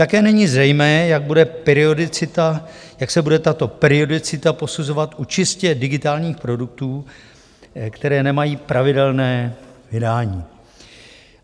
Také není zřejmé, jak se bude tato periodicita posuzovat u čistě digitálních produktů, které nemají pravidelné vydání.